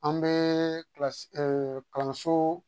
An bɛ kilasi kalanso